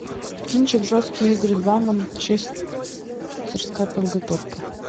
кинчик жесткие игры два манчестерская подготовка